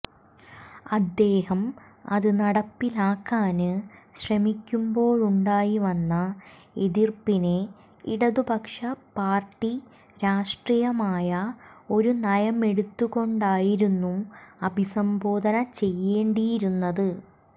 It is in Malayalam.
അദ്ദേഹം അത് നടപ്പിലാക്കാന് ശ്രമിക്കുമ്പോഴുണ്ടായിവന്ന എതിര്പ്പിനെ ഇടതുപക്ഷ പാര്ട്ടി രാഷ്ട്രീയമായ ഒരു നയമെടുത്തുകൊണ്ടായിരുന്നു അഭിസംബോധന ചെയ്യേണ്ടിയിരുന്നത്